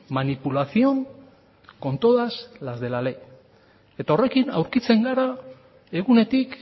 manipulación con todas las de la ley eta horrekin aurkitzen gara egunetik